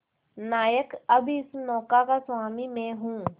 नायक अब इस नौका का स्वामी मैं हूं